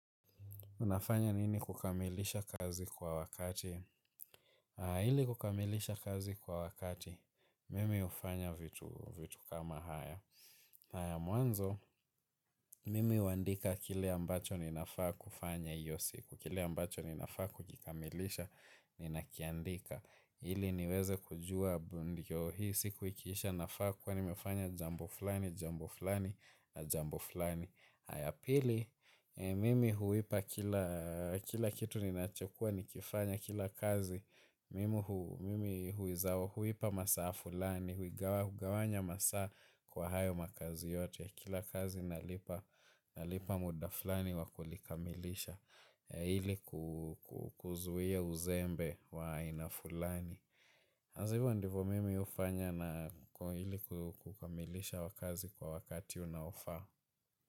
Unafanya nini kukamilisha kazi kwa wakati? Ili kukamilisha kazi kwa wakati, mimi hufanya vitu kama haya. Haya mwanzo, mimi huandika kile ambacho ninafaa kufanya hiyo siku. Kile ambacho ninafaa kukikamilisha, ninakiandika. Ili niweze kujua, hii siku ikiisha nafaa kwa nimefanya jambo fulani, jambo fulani, na jambo fulani. Haya pili, mimi huipa kila kitu ninachokuwa nikifanya kila kazi. Mimi huiza huipa masaa fulani, huigawanya masaa kwa hayo makazi yote. Kila kazi nalipa muda fulani wa kulikamilisha ili kuzuia uzembe wa aina fulani. Hasa hivyo ndivo mimi hufanya na ili kukamilisha wa kazi kwa wakati unaofaa.